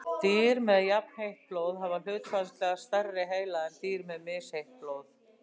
Dýr með jafnheitt blóð hafa hlutfallslega stærri heila en dýr með misheitt blóð.